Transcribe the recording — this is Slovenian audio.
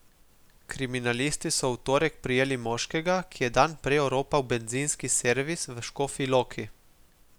Kriminalisti so v torek prijeli moškega, ki je dan prej oropal bencinski servis v Škofji Loki.